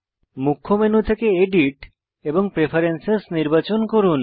মুখ্য মেনু থেকে এডিট এবং প্রেফারেন্স নির্বাচন করুন